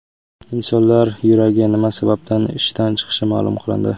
Insonlar yuragi nima sababdan ishdan chiqishi ma’lum qilindi.